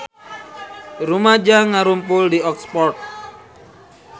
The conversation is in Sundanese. Rumaja ngarumpul di Oxford